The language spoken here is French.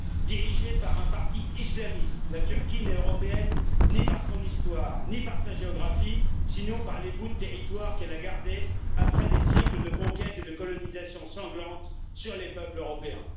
Dirigée par un parti islamiste, la Turquie n'est européenne ni par son histoire, ni par sa géographie, sinon par les bouts de territoires qu'elle a gardés après des siècles de conquêtes et de colonisations sanglantes sur les peuples européens.